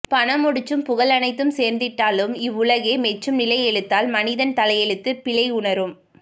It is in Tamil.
பணமுடிச்சும் புகழனைத்தும் சேர்த்திட்டாலும் இவ்வுலகே மெச்சும் நிலையெழுத்தால் மனிதன் தலையெழுத்து பிழையுணரும்